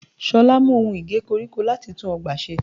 Ṣolá mú ohun Ige koríko láti tún ọgbà ṣe.